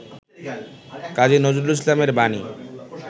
কাজী নজরুল ইসলাম এর বাণী